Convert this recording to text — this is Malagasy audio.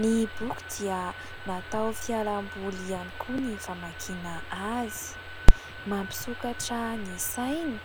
Ny boky dia natao fialamboly ihany koa ny famakiana azy, mampisokatra ny saina